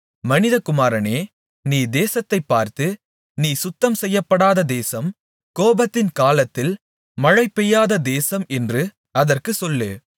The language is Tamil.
மனிதகுமாரனே நீ தேசத்தைப்பார்த்து நீ சுத்தம் செய்யப்படாத தேசம் கோபத்தின் காலத்தில் மழை பெய்யாத தேசம் என்று அதற்குச் சொல்லு